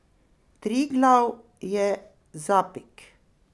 Triglav je zapik.